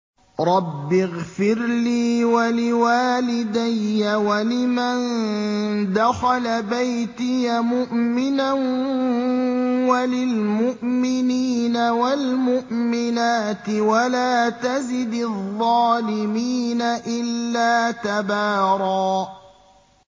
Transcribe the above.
رَّبِّ اغْفِرْ لِي وَلِوَالِدَيَّ وَلِمَن دَخَلَ بَيْتِيَ مُؤْمِنًا وَلِلْمُؤْمِنِينَ وَالْمُؤْمِنَاتِ وَلَا تَزِدِ الظَّالِمِينَ إِلَّا تَبَارًا